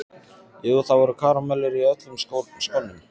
Jú, það voru karamellur í öllum skónum.